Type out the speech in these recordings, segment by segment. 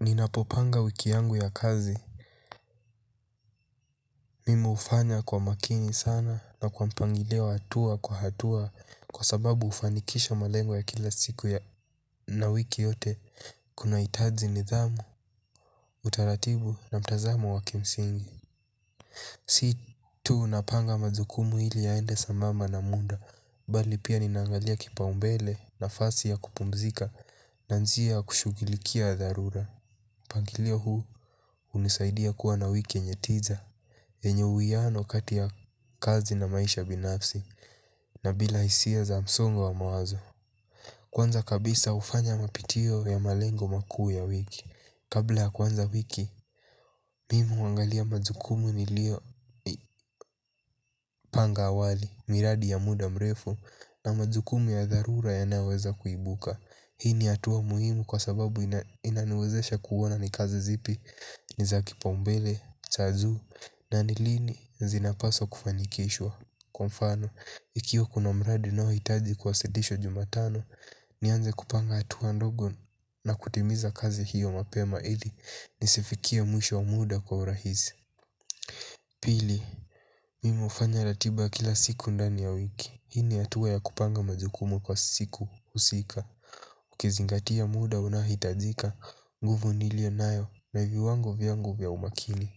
Ninapopanga wiki yangu ya kazi mimi hufanya kwa makini sana na kwa mpangilio wa hatua kwa hatua. Kwa sababu hufanikisha malengo ya kila siku ya na wiki yote kunahitazi nidhamu. Utaratibu na mtazamo wa kimsingi. Si tunapanga majukumu ili yaende sambamba na muda. Bali pia ninaangalia kipa umbele nafasi ya kupumzika. Naanzia kushugilikia dharura. Pangilio huu hunisaidia kuwa na wiki yenye tiza. Yenye uiano kati ya kazi na maisha binafsi na bila hisia za msongo wa mawazo kwanza kabisa hufanya mapitio ya malengo makuu ya wiki. Kabla ya kuanza wiki mimu hangalia majukumu ni lio panga awali. Miradi ya muda mrefu na majukumu ya dharura yanayoweza kuibuka. Hii ni hatua muhimu kwa sababu inaniwezesha kuona ni kazi zipi niza kipombele, cha juu na nilini zinapaswa kufanikishwa. Kwa mfano, ikiwa kuna mradi unaohitaji kuwasidhishwa jumatano nianzekupanga hatua ndogo na kutimiza kazi hyo mapema ili nisifikie mwisho wa muda kwa urahisi. Pili, mimi hufanya ratiba kila siku ndani ya wiki. Hii ni hatua ya kupanga majukumu kwa siku husika. Ukizingatia muda unaohitajika, nguvu nilio nayo na viwango vyangu vya umakili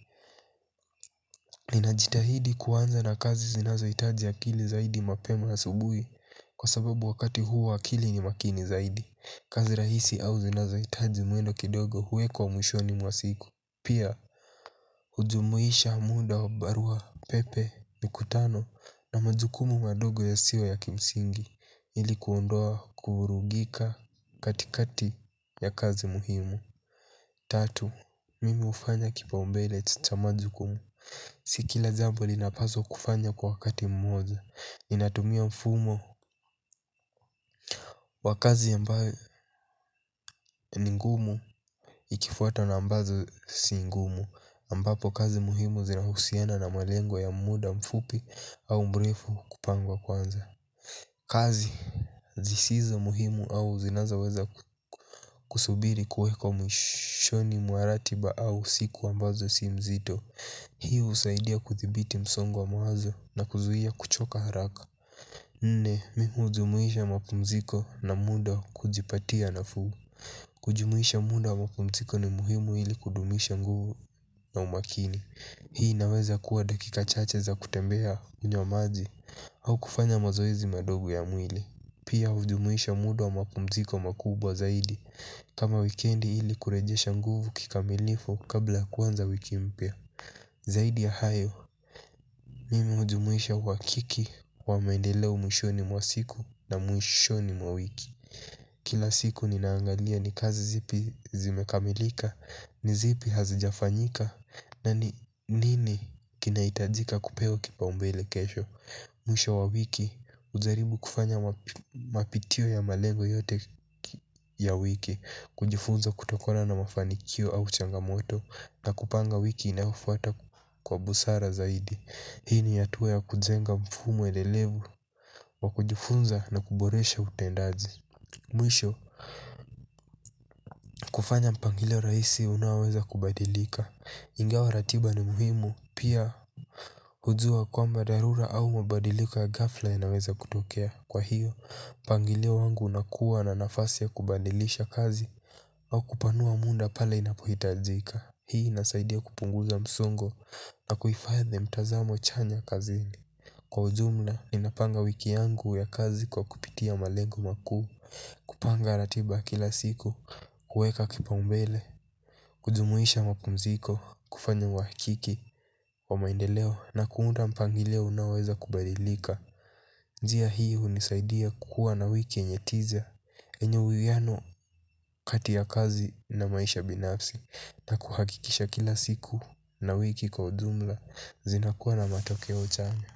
ninajitahidi kuanza na kazi zinazo hitaji akili zaidi mapema asubuhi. Kwa sababu wakati huu akili ni makini zaidi kazi rahisi au zinazohitaji mwili kidogo huwekwa mwishoni mwa siku pia hujumuisha muda y. Tatu, mimi hufanya kipa umbele cha majukumu. Si kila jambo linapazwa kufanywa kwa wakati mmoja. Ninatumia mfumo wa kazi ambayo ni ngumu. Ikifuata na ambazo si ngumu ambapo kazi muhimu zinahusiana na malengo ya muda mfupi au mrefu kupangwa kwanza. Kazi zisizo muhimu au zinazaweza kusubiri kuweko mwishoni mwa ratiba au siku ambazo si mzito. Hii husaidia kuthibiti msongo wa mawazo na kuzuhia kuchoka haraka. Nne, mimi hujumuisha mapumziko na muda wa kujipatia nafuu. Kujumuisha muda wa mapumziko ni muhimu ili kudumisha nguvu na umakini. Hii inaweza kuwa dakika chache za kutembea kunywa maji au kufanya mazoezi madogo ya mwili pia hujumuisha muda wa mapumziko makubwa zaidi. Kama wikendi ili kurejesha nguvu kikamilifu kabla ya kuanza wiki mpya. Zaidi ya hayo, mimi hujumuisha wakiki wa mendeleo mwishoni mwa siku na mwishoni mwa wiki. Kila siku ninaangalia ni kazi zipi zimekamilika, ni zipi hazijafanyika. Na nini kinahitajika kupewa kipa umbele kesho. Mwisho wa wiki, ujaribu kufanya mapitio ya malengo yote ya wiki. Kujifunza kutokona na mafanikio au changamoto na kupanga wiki inayofuata kwa busara zaidi. Hii ni hatua ya kujenga mfumo edelevu wa kujifunza na kuboresha utendaji. Mwisho, kufanya mpangilio rahisi unaoweza kubadilika ingawa ratiba ni muhimu pia hujua kwamba dharura au mabadiliko ya ghafla yawezakutokea kwa hyo mpangilio wangu unakuwa na nafasi ya kubadilisha kazi au kupanua muda pale unaohitajika. Hii inasaidia kupunguza msongo na kuhifadhi mtazamo chanya kazini. Kwa ujumla, ninapanga wiki yangu ya kazi kwa kupitia malengo makuu. Kupanga ratiba kila siku, kuweka kipaumbele. Kujumuisha mapumziko, kufanya wahakiki, wa maendeleo na kuunda mpangilio unaoweza kubadilika. Njia hii hunisaidia kuwa na wiki yenye its easier enye uwihiano kati ya kazi na maisha binafsi na kuhakikisha kila siku na wiki kwa ujumla zinakuwa na matokeo chanya.